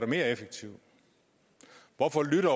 mere effektivt hvorfor lytter